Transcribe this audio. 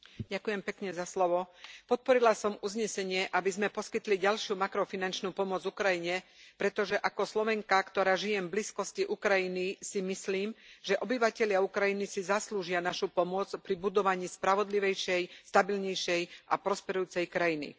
Vážený pán predsedajúci, podporila som uznesenie, aby sme poskytli ďalšiu makrofinančnú pomoc Ukrajine, pretože ako Slovenka, ktorá žije v blízkosti Ukrajiny, si myslím, že obyvatelia Ukrajiny si zaslúžia našu pomoc pri budovaní spravodlivejšej, stabilnejšej a prosperujúcej krajiny.